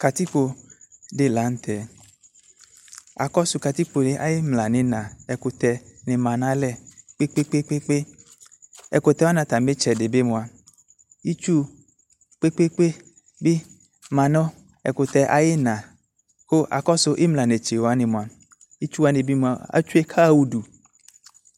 Katikpo de lantɛ Akɔso katikpoɛ aye imla no ina ɛkutɛ ne ma no alɛ kpekpekpekpe Ɛkutɛ wane atame tsɛde be moa itsu kpekpekpe be ma no ɛkutɛ ayena ko akɔso imla netse wane moa itsu wane moa atsue ko aha udu